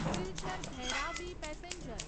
Silchar Bhairabi passenger